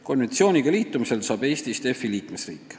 Konventsiooniga liitumisel saab Eestist EFI liikmesriik.